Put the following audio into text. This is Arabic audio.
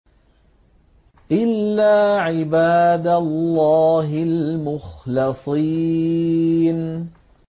إِلَّا عِبَادَ اللَّهِ الْمُخْلَصِينَ